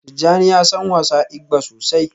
Tijjani ya san wasa igba sosai